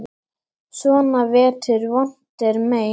Svona vetur vont er mein.